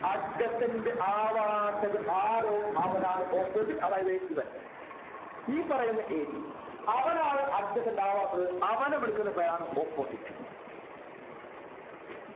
adjacent ആവാത്തത് ആരോ അവനാണ് opposite അതായത് ഇവൻ ഈ പറയുന്ന A B അവനാവും adjacent ആവാത്തത് അവനെവിളിക്കുന്ന പേരാണ് opposite